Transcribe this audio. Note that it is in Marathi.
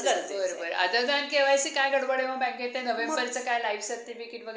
ताण लय असतोय, भरायचं आलेलंय तर मग एवढं होईन fast fast.